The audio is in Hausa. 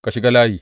Ka shiga layi.